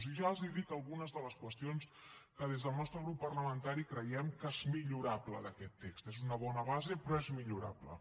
i ja els dic algunes de les qüestions que des del nostre grup parlamentari creiem que són millorables d’aquest text és una bona base però és millorable